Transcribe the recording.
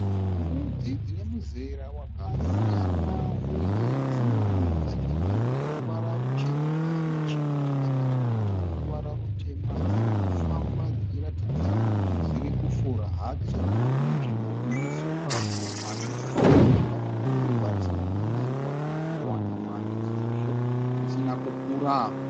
Mbudzi dzine muzera wakasiyana uye dzimwe dzacho dzine ruvara ruchena nechimwe chakaita chidoko chine ruvara rutema, dziri kufamba dzichiratidza kuti dziri kufura hadzo munzvimbo ine sora shoma rinoratidza kuti rave nenguva risina kunaiwa kana kumbowana mwando sezvo risina kukura.